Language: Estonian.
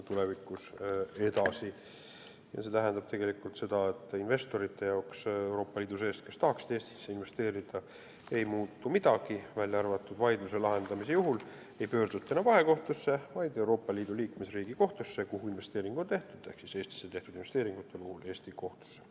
See tähendab tegelikult seda, et Euroopa Liidu sees olevate investorite jaoks, kes tahaksid Eestisse investeerida, ei muutu midagi peale selle, et vaidluse lahendamise juhul ei pöörduta enam vahekohtusse, vaid Euroopa Liidu liikmesriigi kohtusse, kuhu investeering on tehtud, st Eestisse tehtud investeeringute puhul Eesti kohtusse.